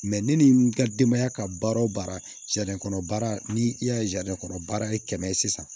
ne ni n ka denbaya ka baara o baara kɔnɔ baara ni i y'a ye kɔnɔ baara ye kɛmɛ ye sisan